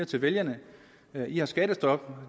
til vælgerne i har skattestop